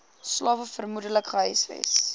slawe vermoedelik gehuisves